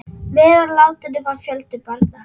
Meðal látinna var fjöldi barna.